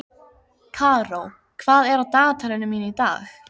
Karó, hvað er á dagatalinu mínu í dag?